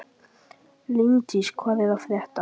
Líndís, hvað er að frétta?